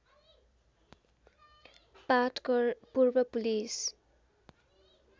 पाटकर पूर्व पुलिस